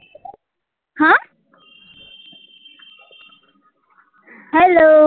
Hello